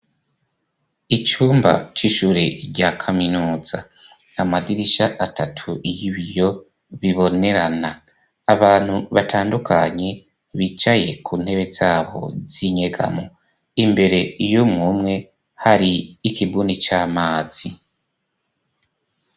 Icumba c'ishure rya kaminuza, amadirisha atatu y'ibiyo bibonerana, abantu batandukanye bicaye ku ntebe zabo zinyegamo, imbere y'umuntu umwe hari ikibuni c'amazi.